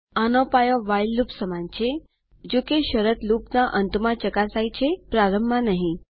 આનો પાયો while loop સમાન છેજોકે શરત લૂપના અંત માં ચકાસાય છે પ્રારંભમાં નહીં